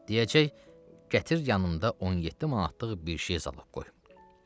Deyəcək: Gətir yanımda 17 manatlıq bir şey zalog qoy.